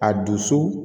A dusu